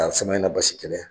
a Samaɲana Basi kɛlɛ